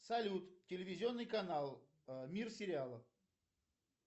салют телевизионный канал мир сериалов